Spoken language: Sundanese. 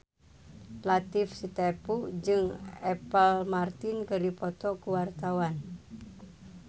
Latief Sitepu jeung Apple Martin keur dipoto ku wartawan